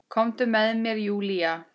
Komdu með mér Júlía.